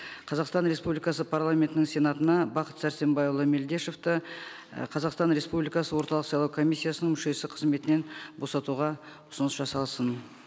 қазақстан республикасы парламентінің сенатына бақыт сәрсенбайұлы мелдешевті қазақстан республикасы орталық сайлау комиссиясының мүшесі қызметінен босатуға ұсыныс жасалсын